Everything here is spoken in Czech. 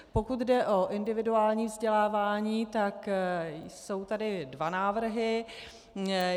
Pokud jde o individuální vzdělávání, tak jsou tady dva návrhy.